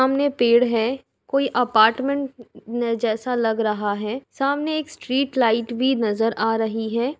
सामने पेड़ है। कोई आपर्टमेंट जैसा लग रहा है। सामने एक स्ट्रीट लाइट भी नजर आ रही है।